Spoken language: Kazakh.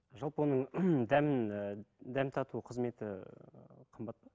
жалпы оның дәмін і дәм тату қызметі ыыы қымбат па